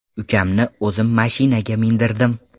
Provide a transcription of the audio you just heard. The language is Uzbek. Ukamni o‘zim mashinaga mindirdim.